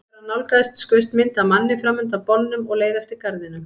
Þegar hann nálgaðist skaust mynd af manni fram undan bolnum og leið eftir garðinum.